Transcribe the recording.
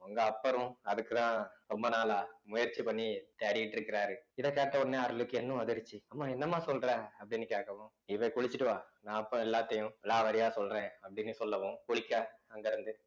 உங்க அப்பரும் அதுக்குதான் ரொம்ப நாளா முயற்சி பண்ணி தேடிட்டு இருக்குறாரு இத கேட்ட உடனே அருளுக்கு இன்னும் உதிர்ச்சி அம்மா என்னம்மா சொல்ற அப்படின்னு கேட்கவும் நீ போய் குளிச்சிட்டு வா நான் அப்ப எல்லாத்தையும் விலாவாரியா சொல்றேன் அப்படின்னு சொல்லவும் குளிக்க அங்க இருந்து